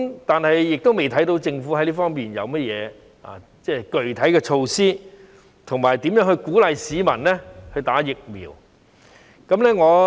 但是，我們未看到政府在這方面有何具體措施，以及如何鼓勵市民注射疫苗。